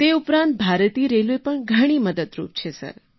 તે ઉપરાંત ભારતીય રેલવે પણ ઘણી મદદરૂપ છે સર